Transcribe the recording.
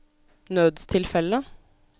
nødstilfelle